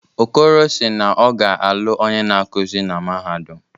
Okoro si naọ ga-alụ onye na-akuzi na mahadum.